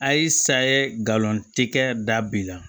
Ay sa ye galon tɛ kɛ da bi la